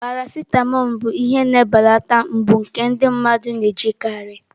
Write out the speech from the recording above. Paracitamọ bụ ihe na-ebelata mgbu nke ndị mmadụ na-ejikarị.